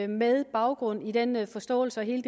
med baggrund i denne forståelse og hele